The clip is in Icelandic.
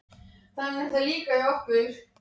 Vertu ekki með þessi látalæti. þú veist það vel!